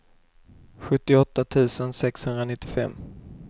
sjuttioåtta tusen sexhundranittiofem